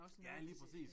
Ja lige præcis